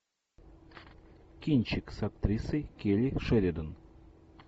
кинчик с актрисой келли шеридан